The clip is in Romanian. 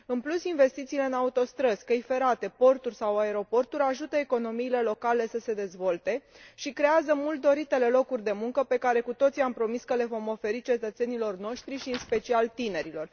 În plus, investițiile în autostrăzi, căi ferate, porturi sau aeroporturi ajută economiile locale să se dezvolte și creează mult doritele locuri de muncă pe care cu toții am promis că le vom oferi cetățenilor noștri și în special tinerilor.